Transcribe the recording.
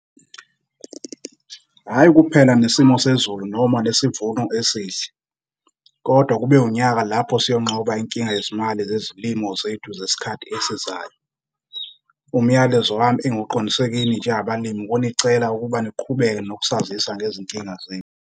Hhayi kuphela nesimo sezulu noma nesivuno esihle, kodwa kube unyaka lapho siyonqoba inkinga yezimali zezilimo zethu zesikhathi esizayo. Umyalezo wami engiwuqondise kini njengabalimi ukunicela ukuba niqhubeke nokusazisa ngezinkinga zenu.